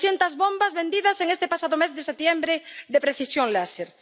Cuatrocientas bombas vendidas, en este pasado mes de septiembre, de precisión láser.